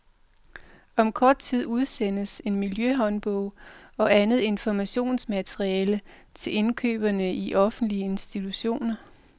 Om kort tid udsendes en miljøhåndbog og andet informationsmateriale til indkøberne i offentlige institutioner.